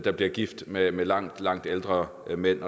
er blevet gift med med langt langt ældre mænd